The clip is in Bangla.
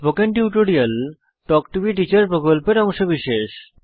spoken tutorial talk to a teacher প্রকল্পের অংশবিশেষ